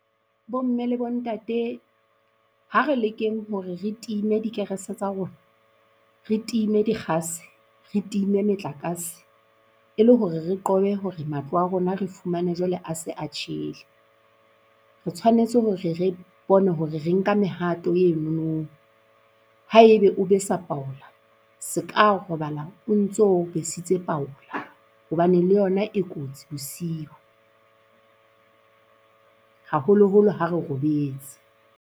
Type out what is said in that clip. Bo mme le bo ntate ha re lekeng hore re time dikerese tsa rona, re time dikgase, re time metlakase, e le hore re qobe hore matlo a rona re fumane jwale a se a tjhele. Re tshwanetse hore re re bone hore re nka mehato enono. Haebe o besa paola se ka robala o ntso besitse paola hobane le yona e kotsi bosiu, haholoholo ha re robetse.